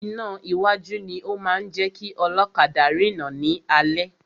Iná iwájú ni o máa ń jẹ́ kí ọlọ́kadà rina ni alẹ́.